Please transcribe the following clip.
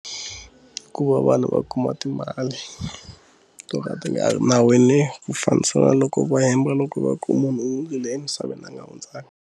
Ku va vanhu va kuma timali to ka ti nga nawini ku fambisa na loko va hemba loko va ku munhu i le emisaveni a nga hundzaka.